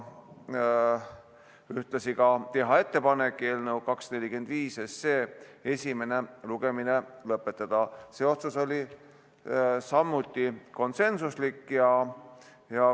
Ühtlasi otsustati teha ettepanek eelnõu 245 esimene lugemine lõpetada – see otsus oli samuti konsensuslik.